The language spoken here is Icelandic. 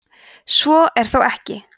svo er þó ekki